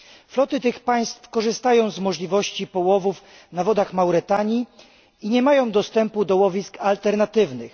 Floty tych państw korzystają z możliwości połowów na wodach Mauretanii i nie mają dostępu do łowisk alternatywnych.